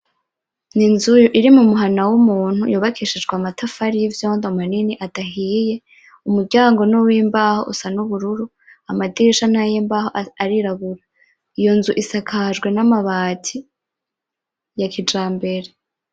Ni inzu iri mu muhana wumuntu yubakishijwe amatafari yivyondo manini adahiye, umuryango ni uwimbaho usa nubururu ,amadirisha nayimbaho asa nayirabura isakajwe namabati ya kijambere .